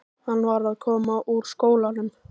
Hann var að koma úr skólanum.